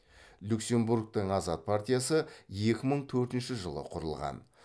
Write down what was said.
люксембургтің азат партиясы екі мың төртінші жылы құрылған